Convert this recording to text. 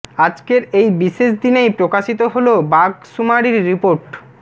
আজকের এই বিশেষ দিনেই প্রকাশিত হল বাঘ সুমারির রিপোর্ট